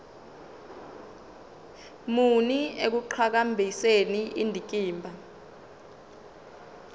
muni ekuqhakambiseni indikimba